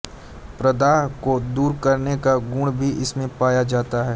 प्रदाह को दूर करने का गुण भी इसमें पाया जाता है